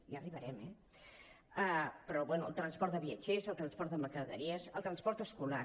ja arribarem eh però bé el transport de viatgers el transport de mercaderies el transport escolar